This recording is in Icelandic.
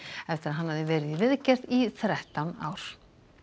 eftir að hann hafði verið í viðgerð í þrettán ár